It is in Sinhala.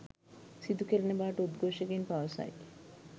සිදුකෙරෙන බවට උද්ඝෝෂකයින් පවසයි.